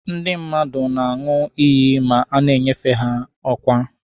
Ndụ mmadụ na-aṅụ iyi ma a na-enyefe be ọkwa.